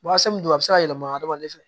don a bɛ se ka yɛlɛma hadamaden fɛ